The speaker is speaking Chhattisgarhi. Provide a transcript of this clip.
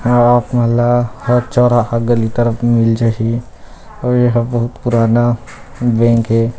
रात मिला फेर चौरहा गली तरफ मिल जाहि अउ ये ह बहुत पुराना बैंक हे।